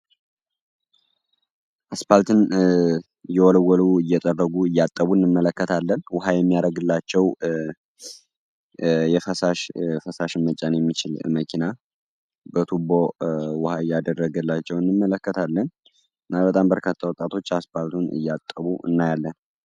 አስፖልትን እየወለወሉ፣ እያጠቡ፣ እያፀዱ እንመለከታለን ውሃ የሚያደርግላቸው ፈሳሽን የሚጭን መኪና በቱቦ ዉሃ እያደረገላቸው እንመለከታለን። እና በርካታ ወጣቶች አስፖልቱን እያጠቡ እናያለን።